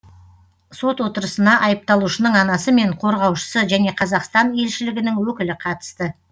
сот отырысына айыпталушының анасы мен қорғаушысы және қазақстан елшілігінің өкілі қатысты